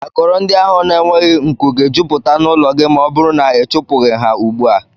Akọrọ ndị ahụ na-enweghị nkù ga-ejuputa n'ụlọ gị ma ọ bụrụ na ị chụpụghi ha ugbu a